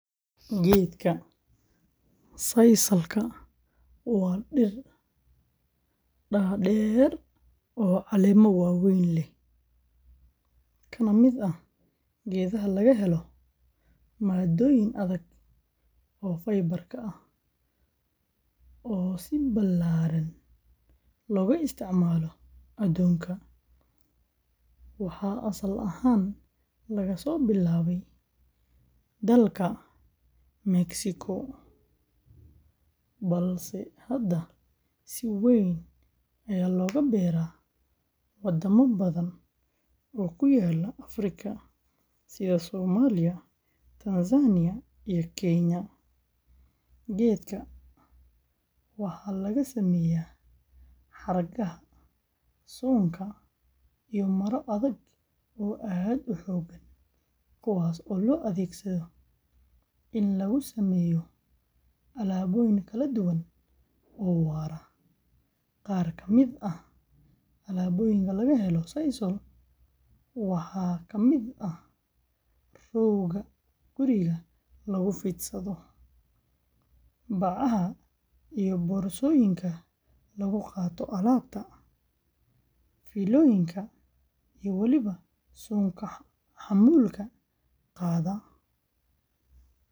Geedka sisal-ka waa dhir dhaadheer oo caleemo waaweyn leh, kana mid ah geedaha laga helo maaddooyin adag oo fibar ah oo si ballaaran looga isticmaalo adduunka, waxaa asal ahaan laga soo bilaabay dalka Mexico, balse hadda si weyn ayaa looga beeraa wadamo badan oo ku yaalla Afrika, sida Soomaaliya, Tanzania, iyo Kenya. Geedka sisal-ka waxaa laga sameeyaa xargaha, suunka, iyo maro adag oo aad u xoog badan, kuwaas oo loo adeegsado in lagu sameeyo alaabooyin kala duwan oo waara. Qaar ka mid ah alaabooyinka laga helo sisal-ka waxaa ka mid ah rooga guriga lagu fadhiisto, bacaha iyo boorsooyinka lagu qaato alaabta, fiilooyinka, iyo waliba suunka xamuulka qaada.